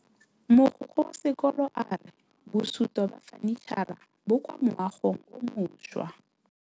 Mogokgo wa sekolo a re bosutô ba fanitšhara bo kwa moagong o mošwa.